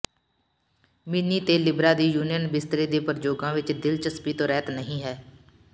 ਮਿੀਨੀ ਅਤੇ ਲਿਬਰਾ ਦੀ ਯੂਨੀਅਨ ਬਿਸਤਰੇ ਦੇ ਪ੍ਰਯੋਗਾਂ ਵਿਚ ਦਿਲਚਸਪੀ ਤੋਂ ਰਹਿਤ ਨਹੀਂ ਹੈ